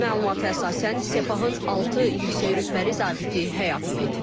Məlumata əsasən Sepahın altı yüksək rütbəli zabiti həyatını itirib.